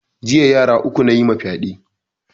Jiya yara uku nayima fyaɗe